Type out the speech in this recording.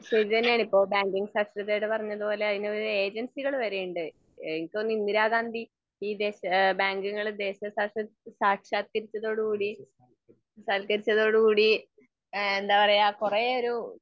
ശെരി തന്നെയാണ് ഇപ്പൊ ബാങ്കിങ് സാക്ഷരതയുടെ പറഞ്ഞതുപോലെ അതിനൊരു ഏജൻസികൾ വരെയുണ്ട് എനിക്ക് തോനുന്നു ഇന്ദിരാഗാന്ധി ഈ ബാങ്കുകള് ദേശ സാൽക്കരിച്ചതോടുകൂടി, സാക്ഷാത്കരിച്ചത്തോടുകൂടി, സാൽക്കരിച്ചതോടു കൂടി ഏഹ് എന്താ പറയാ കൊറേ ഒരു